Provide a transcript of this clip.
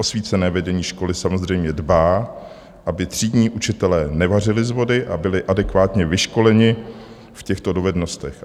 Osvícené vedení školy samozřejmě dbá, aby třídní učitelé nevařili z vody a byli adekvátně vyškoleni v těchto dovednostech.